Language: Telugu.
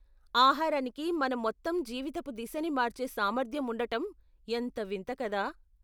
ఆహారానికి మన మొత్తం జీవితపు దిశని మార్చే సామర్థ్యం ఉండటం ఎంత వింత కదా.